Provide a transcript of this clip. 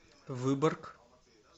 выборг